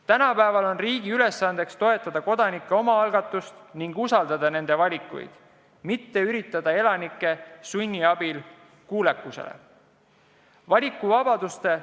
Tänapäeval on riigi ülesanne toetada kodanike omaalgatust ning usaldada nende valikuid, mitte üritada elanikke kuulekusele sundida.